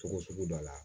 Togo sugu dɔ la